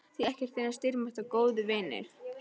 Því ekkert er eins dýrmætt og góðir vinir.